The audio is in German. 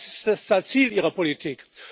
Das ist das Ziel Ihrer Politik.